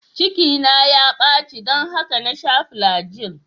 Cikina ya baci don haka na sha flagyl.